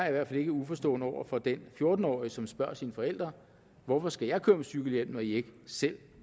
i hvert fald ikke uforstående over for den fjorten årige som spørger sine forældre hvorfor skal jeg køre med cykelhjelm når i ikke selv